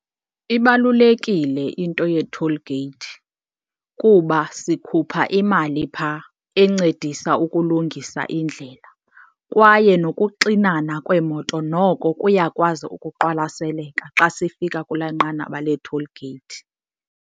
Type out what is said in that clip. Ibalulekile into ye-toll gate kuba sikhupha imali phaa encedisa ukulungisa indlela kwaye nokuxinana kweemoto noko kuyakwazi ukuqwalaseleka xa sifika kulaa nqanaba lee-toll gate.